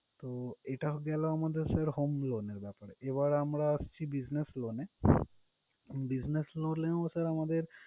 তো এটা হলো গিয়ে আমাদের home loan এর ব্যাপারে। এবার আমরা আসছি business loan এ। business loan এ ও sir আমাদের